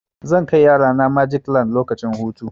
Zan kai yarana magic land lokacin hutu.